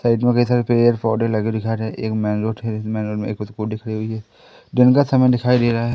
Side में कई सारे पेड़ पौधे लगे हुए दिखाई दे रहे स्कूटी खड़ी हुई है दिन का समय दिखाई दे रहा है।